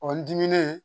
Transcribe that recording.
O n diminen